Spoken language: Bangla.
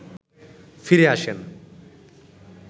ফিরে আসেন